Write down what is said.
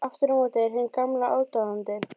Aftur á móti er hinn gamli aðdáandi